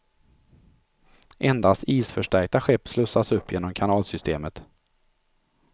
Endast isförstärkta skepp slussas upp genom kanalsystemet.